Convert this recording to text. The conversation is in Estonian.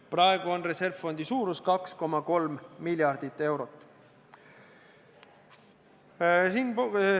Praegu on reservfondi suurus 2,3 miljardit eurot.